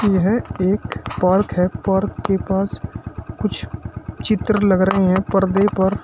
यह एक पार्क है पार्क के पास कुछ चित्र लग रहे हैं पर्दे पर--